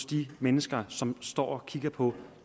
de mennesker som står og kigger på at